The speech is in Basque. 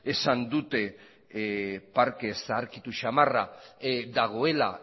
esan dute parke zaharkitu samarra dagoela